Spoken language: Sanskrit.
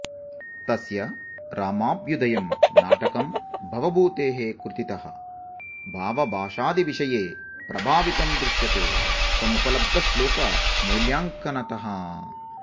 तस्य रामाभ्युदयं नाटकं भवभूतेः कृतितः भावभाषादिविषये प्रभावितं दृश्यते समुपलब्धश्लोकमूल्याङ्कनतः